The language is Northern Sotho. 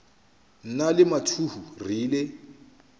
nna le mathuhu re ile